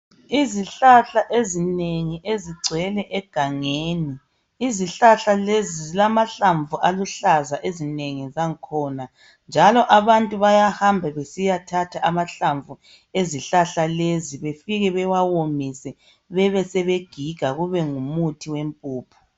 Izihlahla ezinengi ezigcwele egangeni, izihlahla lezi zilamahlamvu aluhlaza ezinengi zangkhona njalo abantu bayahamba besiyathatha amahlamvu ezihlahla lezi befike bewawomise bebesebegiga kube ngumuthi wempuphu.